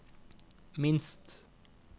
minst